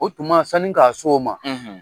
O tuma sani k'a s'o ma